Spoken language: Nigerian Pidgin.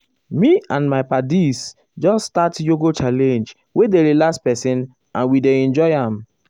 me and my paddies just start yoga challenge wey dey relax person and we dey enjoy am.